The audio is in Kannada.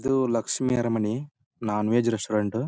ಇದು Lakshmi Aramani non veg restaurant .